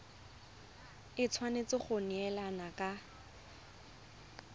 e tshwanetse go neelana ka